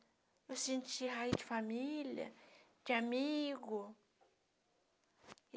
Eu senti raiz de família, de amigo.